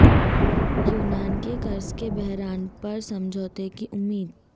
یونان کے قرض کے بحران پر سمجھوتے کی امید